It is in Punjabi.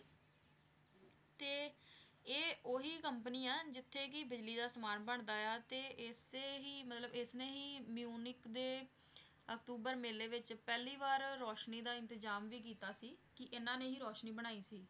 ਤੇ ਇਹ ਉਹੀ company ਹੈ ਜਿੱਥੇ ਕਿ ਬਿਜ਼ਲੀ ਦਾ ਸਮਾਨ ਬਣਦਾ ਆ ਤੇ ਇਸੇ ਹੀ ਮਤਲਬ ਇਸਨੇ ਹੀ ਮਿਊਨਿਕ ਦੇ ਅਕਤੂਬਰ ਮੇਲੇ ਵਿੱਚ ਪਹਿਲੀ ਵਾਰ ਰੋਸ਼ਨੀ ਦਾ ਇੰਤਜ਼ਾਮ ਵੀ ਕੀਤਾ ਸੀ, ਕਿ ਇਹਨਾਂ ਨੇ ਹੀ ਰੋਸ਼ਨੀ ਬਣਾਈ ਸੀ।